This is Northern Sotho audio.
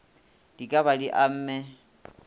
di ka ba di amme